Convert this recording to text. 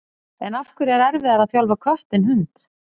En af hverju er erfiðara að þjálfa kött en hund?